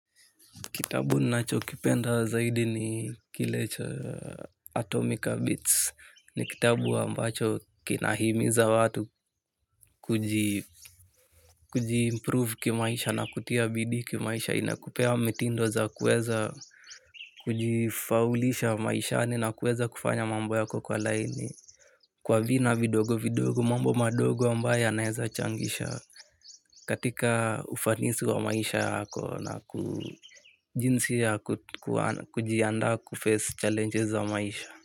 Kitabu nacho kipenda zaidi ni kile cha Atomica Beats ni kitabu ambacho kina himiza watu kuji improve kimaisha na kutia bidii kimaisha inakupea mitindo za kuweza kuji faulisha maishani na kuweza kufanya mambo yako kwa laini. Kwa vina vidogo vidogo mambo madogo ambayo yanaweza changisha katika ufanisi wa maisha yako na jinsi ya kujiandaa kuface challenges za maisha.